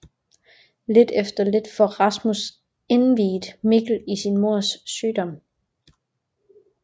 Lidt efter lidt får Rasmus indviet Mikkel i sin mors sygdom